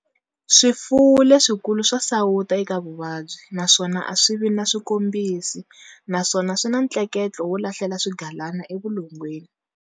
Swifuwo leswikulu swa sawuta eka vuvabyi naswona a swi vi na swikombisi, naswona swi na ntleketlo wo lahlela swigalana evulongweni.